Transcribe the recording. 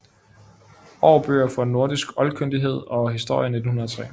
Aarbøger for nordisk Oldkyndighed og Historie 1903